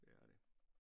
Det er det